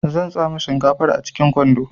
Zan tsame shinkafar a cikin kwando